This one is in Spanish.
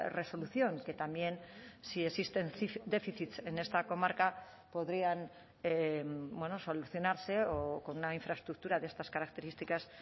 resolución que también si existen déficits en esta comarca podrían solucionarse o con una infraestructura de estas características